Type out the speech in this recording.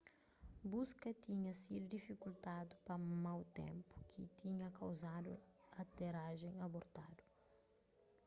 buska tinha sidu difikultadu pa mau ténpu ki tinha kauzadu aterajen abortadu